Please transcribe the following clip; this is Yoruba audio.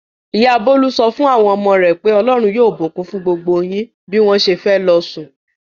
Ìyá Bólú sọ fún àwọn ọmọ rẹ̀ pé "Ọlọ́run yóò bùkún gbogbo yín" bí wọ́n ṣe fẹ́ lọ sùn.